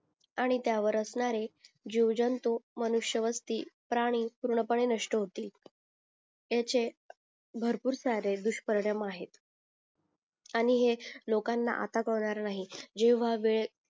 आणि त्या वर असणाऱ्या जीव जंतू मनुष्य वस्ती प्राणी पूर्ण पने नष्ट होतील ह्याचे भरपूर सारे दुष्परिणाम आहेत आणि हे लोकांना आता कळणार नाही जेव्हा वेळ